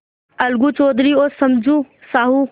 अलगू चौधरी और समझू साहु